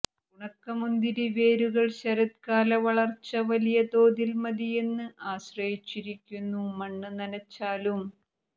ഉണക്കമുന്തിരി വേരുകൾ ശരത്കാല വളർച്ച വലിയതോതിൽ മതിയെന്ന് ആശ്രയിച്ചിരിക്കുന്നു മണ്ണ് നനച്ചാലും